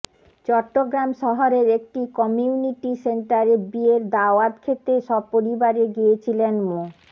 চট্টগ্রাম শহরের একটি কমিউনিটি সেন্টারে বিয়ের দাওয়াত খেতে সপরিবারে গিয়েছিলেন মো